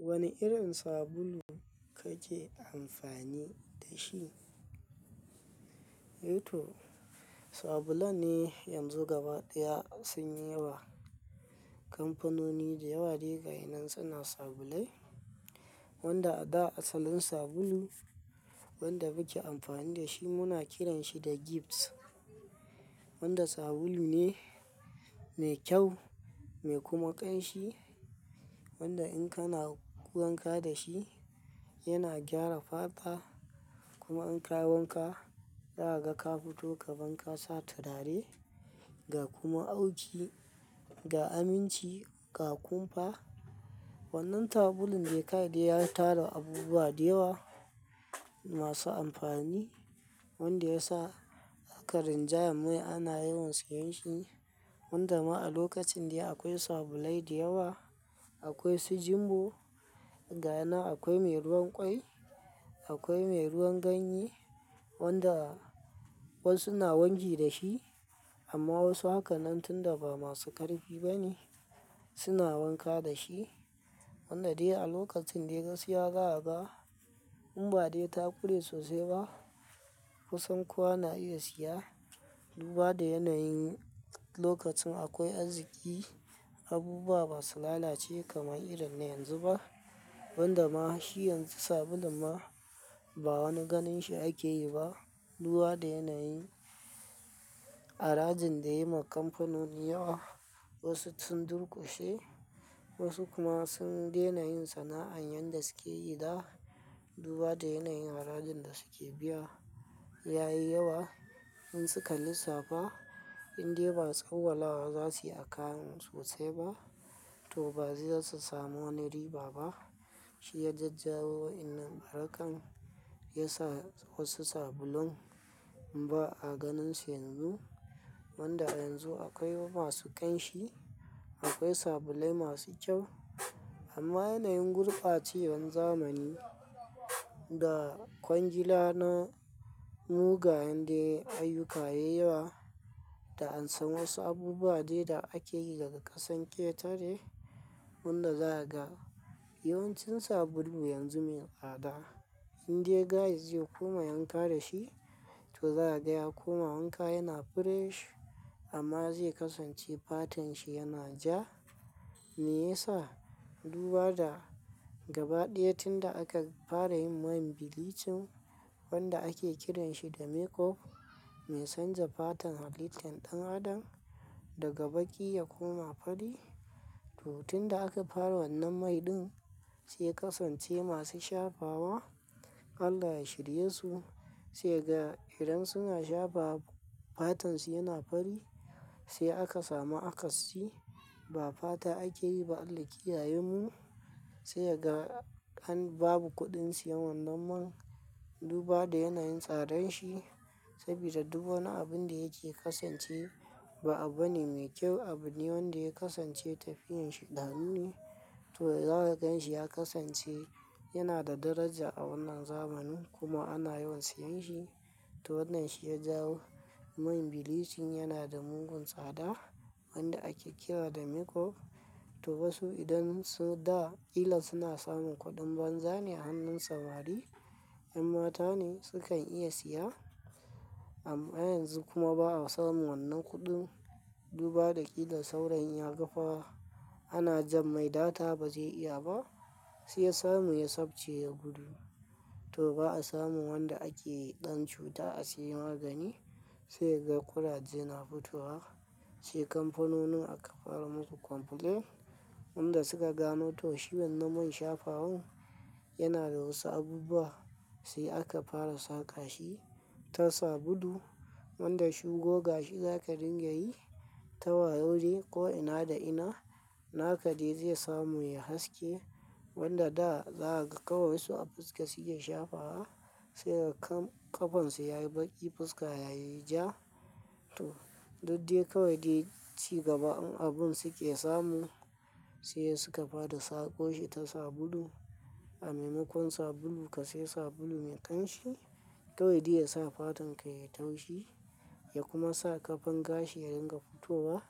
Wane irin sabulu kake amfani da shi? To sabulan ne, yanzu gaba ɗaya sun yi yawa. Kamfanoni da yawa de ga yana suna sabulai wanda a da asalin sabulu wanda muke amfani da shi muna kiran shi da gifts. Wanda sabulu ne mai kyau mai kuma ƙanshi, wanda in kana wanka da shi yana gyara fata kuma in ka wanka za ka ga ka fito kaman ka sa turare ga kuma auki, ga aminci ga ƙunfa. Wannan sabulun da kawai de ya tara abubuwa da yawa masu amfani wanda ya sa aka rinjaya mai ana yawan siyan shi. Wanda ma a lokacin dai akwai sabulai da yawa, akwai su jumbo ga yanan akwai mai ruwan kwai, akwai mai ruwan ganye wanda wasu na wanki da shi amma wasu haka nan tun da ba masu ƙarfi ba ne suna wanka da shi. Wanda dai a lokacin dai gaskiya za'aga, in ba dai ta kure sosai ba kusan kowa na iya siya. Duba da yanayin lokacin akwai arziqi abubuwa ba su lalace kamar irin na yanzu ba. Wanda ma shi yanzu sabulun ma ba wani ganin shi ake yi ba. Duba da yanayin arajin da ya yi ma kamfanoni yawa wasu sun durƙushe wasu kuma sun daina yin sana'an yanda suke yi da. Duba da yanayin harajin da suke biya yayi yawa in suka lissafa indai ba tsawwala za su yi a kayan sosai ba to ba za samu wani riba ba. Shi ya jajjawo wayannan a harkan ya sa wasu sabulun in ba a ganin su yanzu. Wanda yanzu akwai masu ƙanshi, akwai sabulai masu kyau amma yanayin gurɓacewan zamani da kwangila na mu ga yindai ayyuka yay yawa da an san wasu abubuwa dai da ake yi daga ƙasan ƙetare wanda za ka ga yawancin sabulu yanzu mai tsada indai gaye ze koma ya wanka da shi to za ka ga ya koma wanka yana fresh amma zai kasance fatan shi yana ja. Me yasa? Duba da gabaɗaya tun da aka fara yin man bilicin wanda ake kiranshi da makeup mai canza fatan halittan ɗan adam daga baƙi ya koma fari to tun da aka fara wannan mai ɗin sai kasance masu shafawa Allah ya shirye su sai ga idan suna shafawa fatan su yana fari sai aka samu akasi ba fata ake yi ba Allah kiyaye mu sai ga an babu kuɗin siyan wannan man. Duba da yanayin tsadan shi saboda duk wani abun da yake kasance ba abu bane mai kyau abu ne wanda ya kasance tafiyan shaidanu ne to za ka gan shi ya kasance yana da daraja a wannan zamani kuma ana yawan siyan shi to wannan shi ya jawo yin bilicin yana da mugun tsada wanda ake kira da makeup to wasu idan su da ƙila suna samun kuɗin banza ne a hannun samari 'yan mata ne su kan iya siya amma yanzu kuma ba'a samu wannan kuɗin duba da ƙila saurayin yaga fa ana jan mai data ba zai iya ba sai ya samu ya sabce ya gudu to ba'a samu wanda ake yi ɗan cuta a siya magani sai ga kuraje na fitowa sai kamfanonin aka fara musu complaint wanda suka gano to shi wannan man shafawan yana da wasu abubuwa sai aka fara saka shi ta sabulu wanda shi goga shi za ka dinga yi ta wayau dai ko ina da ina naka dai zai samu yay haske wanda da zaka ga kawai wasu a fuska suke shafawa sai ga ƙafan su yayi baƙi fuska yayi ja to duk dai kawai dai ci gaba abun suke samu sai suka fara sako shi ta sabulu a maimakon sabulu ka siya sabulu mai ƙanshi kawai dai ya sa fatan ka yay taushi ya kuma sa ƙafan gashi ya dinga fitowa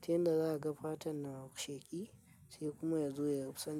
ta yanda za ka ga fatan na sheƙi sai kuma ya zo ya rusa.